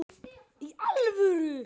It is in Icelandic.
Í alvöru!?